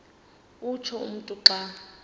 utsho umntu xa